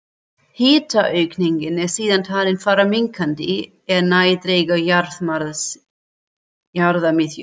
Hitaaukningin er síðan talin fara minnkandi er nær dregur jarðarmiðju.